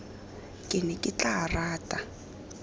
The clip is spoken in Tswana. ke ne ke tla rata